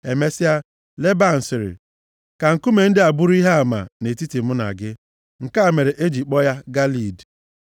Emesịa, Leban sịrị, “Ka nkume ndị a bụrụ ihe ama nʼetiti mụ na gị taa.” Nke a mere e ji kpọọ ya Galeed.